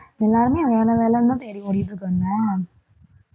எல்லாருமே வேலை வேலைன்னுதான் தேடி ஓடிட்டு இருக்காங்க